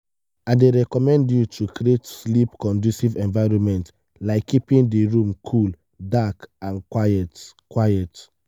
i dey recommend you to create sleep-conducive environment like keeping di room cool dark and quiet. quiet.